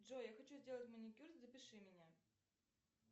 джой я хочу сделать маникюр запиши меня